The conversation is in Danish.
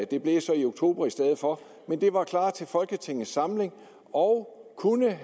det blev så i oktober i stedet for men det var klar til folketingets samling og kunne